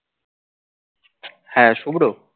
হ্যা শুভ্র